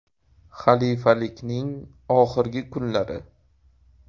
Xalifalikning oxirgi kunlari.